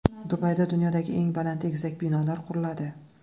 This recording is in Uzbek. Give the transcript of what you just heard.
Dubayda dunyodagi eng baland egizak binolar quriladi.